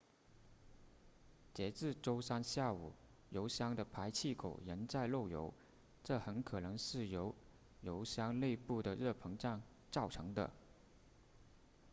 截至周三下午油箱的排气口仍在漏油这很可能是由油箱内部的热膨胀造成的